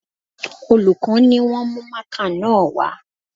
Olùkọ́ ni wọ́n mú mákà náà wá